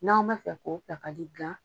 N'aw bɛ fɛ ko ta ka dilan.